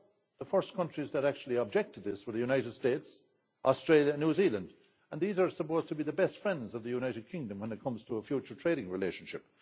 The first countries that actually objected to this were the United States, Australia and New Zealand, and these are supposed to be the best friends of the United Kingdom when it comes to a future trading relationship.